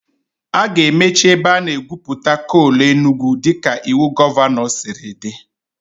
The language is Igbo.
A ga-emechi ebe a na-egwupụta coal Enugwu dịka iwu gọvanọ siri dị